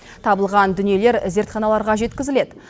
табылған дүниелер зертханаларға жеткізіледі